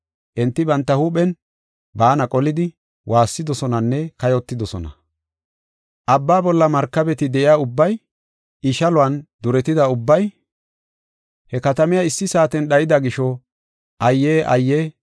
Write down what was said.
Enti banta huuphen baana qolidi, waassidosonanne kayotidosona. “ ‘Abbaa bolla markabeti de7iya ubbay, I shaluwan duretida ubbay, he katamiya issi saaten dhayida gisho, ayye! Ayye!